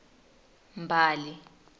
mbali